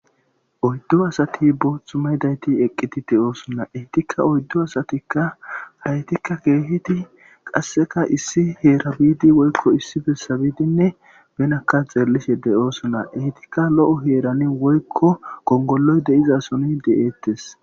Oyddu asat boothu mayidayt eqid de'osona. Etika oydu asatika haytika keehid qaseka issi Hera biid woyko issi besa biidinne benaka xeelishe dosona, etika lo'o heran woyko gongoloy de'izason de'etes.